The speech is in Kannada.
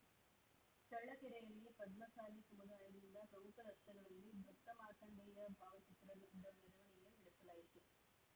ಚಳ್ಳಕೆರೆಯಲ್ಲಿ ಪದ್ಮಸಾಲಿ ಸಮುದಾಯದಿಂದ ಪ್ರಮುಖ ರಸ್ತೆಗಳಲ್ಲಿ ಭಕ್ತ ಮಾರ್ಕಂಡೇಯ ಭಾವಚಿತ್ರದ ಮೆರವಣಿಗೆ ನಡೆಸಲಾಯಿತು